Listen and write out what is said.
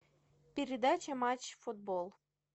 передача матч футбол